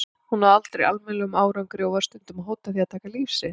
Hún náði aldrei almennilegum árangri og var stundum að hóta því að taka líf sitt.